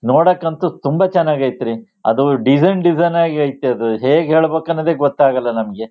ನೋಡಕ್ ಅಂತು ತುಂಬಾ ಚನಾಗ್ ಐತ್ ರೀ ಅದು ಡಿಸೈನ್ ಡಿಸೈನ್ ಆಗಿ ಐತೆ ಅದು ಹೇಗ್ ಹೇಳ್ಬೇಕು ಅನ್ನೋದೇ ಗೊತ್ತಾಗಲ್ಲಾ ನಮ್ಗೆ.